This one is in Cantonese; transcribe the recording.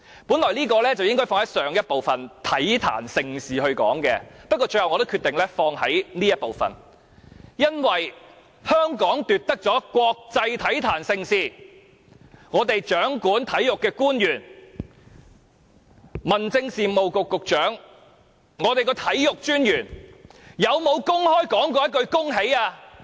本來這應放在上一部分體壇盛事中談論，不過，我最後決定放在這部分談論，因為香港奪得國際體壇盛事，而香港掌管體育的官員，民政事務局局長和體育專員有否公開說一句恭喜？